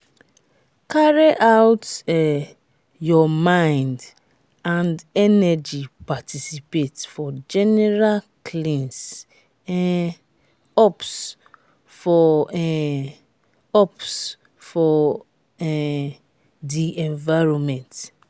carry out um your mind and energy participate for general cleans um ups for um ups for um di environment